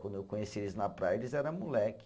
Quando eu conheci eles na praia, eles era moleque.